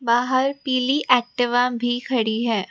बाहर पीली एक्टिवा भी खड़ी है।